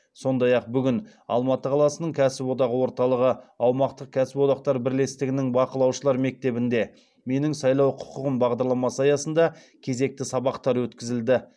сондай ақ бүгін алматы қаласының кәсіподақ орталығы аумақтық кәсіподақтар бірлестігінің бақылаушылар мектебінде менің сайлау құқығым бағдарламасы аясында кезекті сабақтар өткізілді